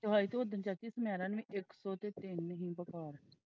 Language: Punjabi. ਦਵਾਈ ਤੇ ਉਦਣ ਚਾਚੀ ਸੁਨੇਰਾ ਨੇ ਇੱਕ ਸੋ ਤਿੰਨ ਨੂੰ ਦਿਖਾ।